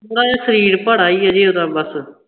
ਥੋੜਾ ਜਾ ਸਰੀਰ ਭਾਰਾ ਹੀ ਹੈ ਅਜੈ ਉਸਦਾ ਬਸ